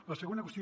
la segona qüestió